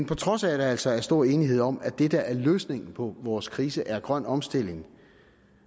på trods af at der altså er stor enighed om at det der er løsningen på vores krise er grøn omstilling